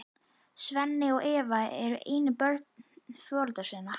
Svenni og Eva eru einu börn foreldra sinna.